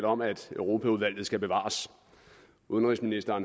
om at europaudvalget skal bevares udenrigsminister